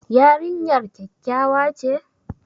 Yarinyar kyakkyawa ce?